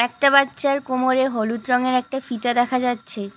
একটা বাচ্চার কোমরে হলুদ রঙের একটা ফিতা দেখা যাচ্ছে।